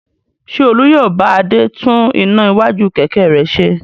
Ṣé Olú yóò bá Adé tún iná iwájú kẹ̀kẹ́ rẹ̀ ṣe?